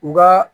U ka